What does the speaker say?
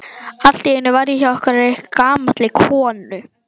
Allt í einu var ég hjá einhverri gamalli konu.